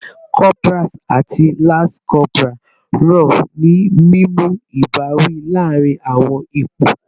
Corporals ati lance corporals ran ni mimu ibawi laarin awọn ipo